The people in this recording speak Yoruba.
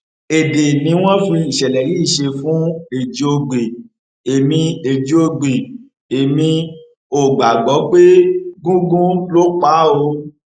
èdè ni wọn fi ìṣẹlẹ yìí ṣe fún ẹjíògbè èmi ẹjíògbè èmi ò gbàgbọ pé gúngun ló pa á o